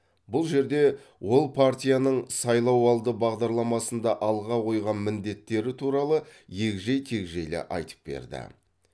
бұл жерде ол партияның сайлауалды бағдарламасында алға қойған міндеттері туралы егжей тегжейлі айтып берді